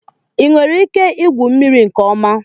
Ị nwere ike igwu mmiri nke ọma?